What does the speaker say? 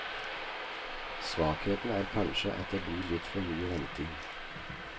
Svakheten er kanskje at det blir litt for mye venting.